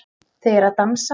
Þau eru að dansa